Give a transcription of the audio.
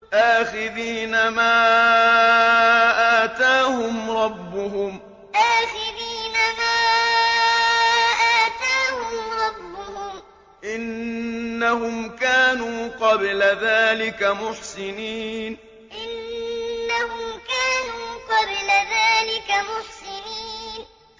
آخِذِينَ مَا آتَاهُمْ رَبُّهُمْ ۚ إِنَّهُمْ كَانُوا قَبْلَ ذَٰلِكَ مُحْسِنِينَ آخِذِينَ مَا آتَاهُمْ رَبُّهُمْ ۚ إِنَّهُمْ كَانُوا قَبْلَ ذَٰلِكَ مُحْسِنِينَ